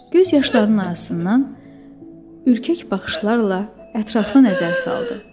Göz yaşlarının arasından ürkək baxışlarla ətrafa nəzər saldı.